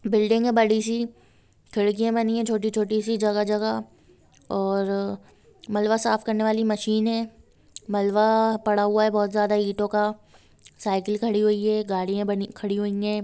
Building है बड़ी सी खिडकियाॅं बनी हैं छोटी-छोटी सी जगह-जगह और मलबा साफ़ करने वाली मशीन है मलबा पड़ा हुआ है बहुत ज्यादा इटो का साइकिल खड़ी हुई है गाड़ियाॅं बनी खड़ी हुई हैं।